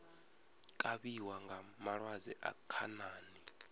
kavhiwa nga malwadze a khanani